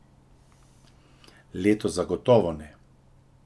Letos zagotovo ne.